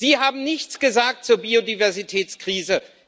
Sie haben nichts gesagt zur Biodiversitätskrise.